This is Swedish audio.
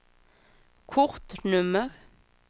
kortnummer